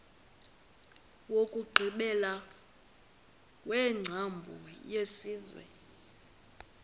wokugqibela wengcambu yesenziwa